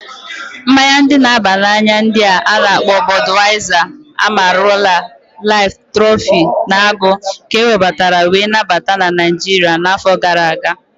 Mmaya ndi na aba na anya ndi a-na akpo Bodwaiza, Amarula, Life, Trophy, na Agụ ka ewebatara wee nabata na Naijiria na afọ gara aga.